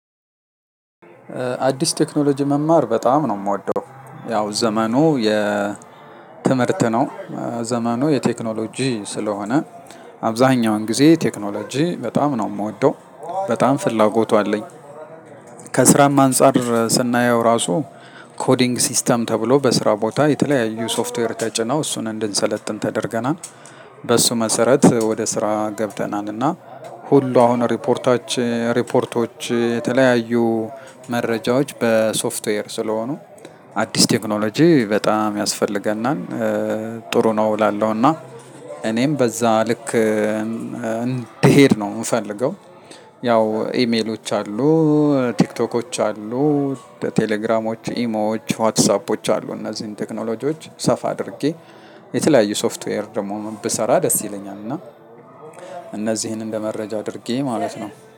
አዲስ ቴክኖሎጂ መማር በጣም ነው ምወደው። ያው ዘመኑ የ ትምህርት ነው። ዘመኑ የቴክኖሎጂ ስለሆነ አብዛኛውን ጊዜ ቴክኖሎጂ በጣም ነው ምወደው። በጣም ፍላጎቱ አለኝ። ከስራም አንፃር ስናየው ራሱ ኮዲንግ ሲስተም ተብሎ በስራ ቦታ የተለያዩ ሶፍትዌር ተጭናው እሱን እንድንሰለጥን ተደርገናል። በሱ መሰረት ወደ ስራ ገብተናልና። ሁሉ አሁን ሪፖርታችን ሪፖርቶች የተለያዩ መረጃዎች በሶፍትዌር ስለሆኑ አዲስ ቴክኖሎጂ በጣም ያስፈልገናል። ጥሩ ነው እላለሁ እና። እኔም በዛ ልክ እንድሄድ ነው ምፈልገው። ያው ኢሜሎች አሉ። ቲክቶኮች አሉ። ቴሌግራሞች ኢሞዎች ዋትሳፖች አሉ። እነዚህን ቴክኖሎጂዎች ሰፋ አድርጌ የተለያዩ ሶፍትዌር ደግሞ ብሰራ ደስ ይለኛል። እና እነዚህን እንደ መረጃ አድርጌ ማለት ነው